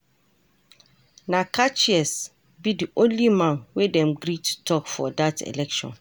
Na catchiest be di only man wey them gree to talk for that election.